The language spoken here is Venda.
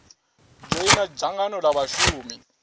dzhoina dzangano l a vhashumi